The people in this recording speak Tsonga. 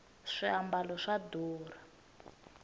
swiambalo swa durha